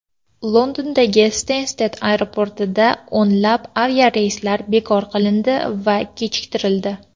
Londonning Stensted aeroportida o‘nlab aviareyslar bekor qilindi yoki kechiktirildi.